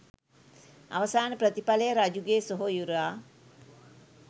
අවසාන ප්‍රතිඵලය රජුගේ සොහොයුරා